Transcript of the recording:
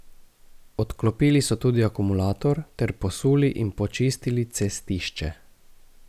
Odklopili so tudi akumulator ter posuli in počistili cestišče.